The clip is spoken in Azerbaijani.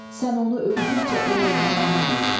Sən onu öydükcə o lovğalanar.